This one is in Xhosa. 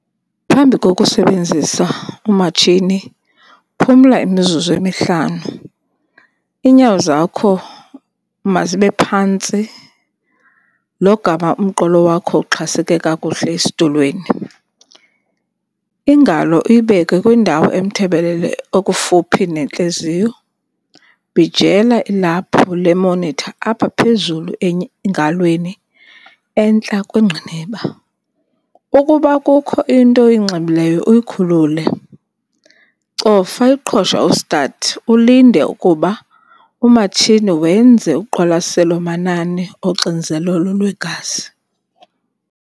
Phambi kokusebenzisa umatshini, phumla imizuzu emihlanu. Iinyawo zakho mazibe phantsi logama umqolo wakho uxhaseke kakuhle esitulweni. Ingalo uyibeke kwindawo emthebelele okufuphi nentliziyo. Bhijela ilaphu le-monitor apha phezulu engalweni entla kwengqiniba. Ukuba kukho into oyinxibileyo uyikhulule. Cofa iqhosha u-start ulinde ukuba umatshini wenze uqwalaselo manani oxinzelelo lwegazi.